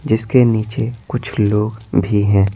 जिसके नीचे कुछ लोग भी हैं।